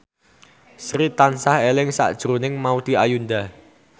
Sri tansah eling sakjroning Maudy Ayunda